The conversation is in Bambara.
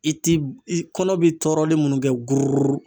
I ti i kɔnɔ bi tɔɔrɔlen minnu kɛ gororororo.